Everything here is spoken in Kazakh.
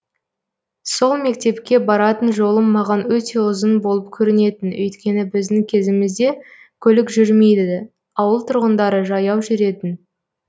сол мектепке баратын жолым маған өте ұзын болып көрінетін өйткені біздің кезімізде көлік жүрмейді ауыл тұрғындары жаяу жүретін